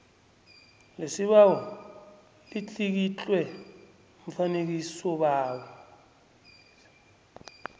lesibawo litlikitlwe mfakisibawo